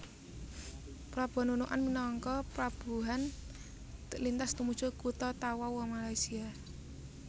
Pelabuhan Nunukan minangka pelabuhan lintas tumuju kutha Tawau Malaysia